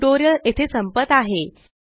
हे टयूटोरियल येथे संपत आहे